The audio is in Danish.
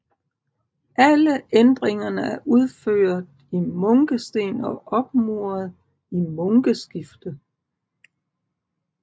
Alle ændringerne er udført i munkesten og opmuret i munkeskifte